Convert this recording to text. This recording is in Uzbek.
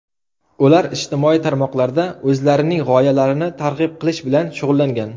Ular ijtimoiy tarmoqlarda o‘zlarining g‘oyalarini targ‘ib qilish bilan shug‘ullangan.